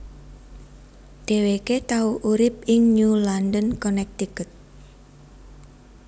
Dheweke tau urip ing New London Connecticut